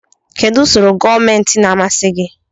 Kedu usoro gọọmentị na-amasị gị?